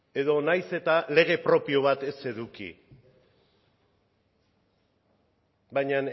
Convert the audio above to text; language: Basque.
edo nahiz eta lege propio bat ez eduki baina